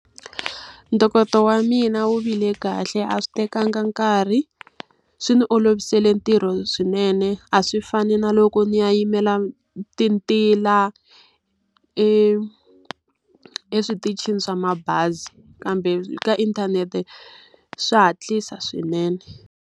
Ntokoto wa mina wu vile kahle a swi tekanga nkarhi, swi ni olovisele ntirho swinene. A swi fani na loko ni ya yimela tintila eswitichini swa mabazi. kambe ka inthanete swa hatlisa swinene.